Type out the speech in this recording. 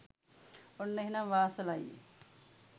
ඔන්න එහෙනම් වාසල අයියේ